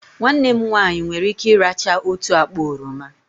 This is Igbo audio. Nwanne m nwanyị nwere ike ị́rachaa otu akpa oroma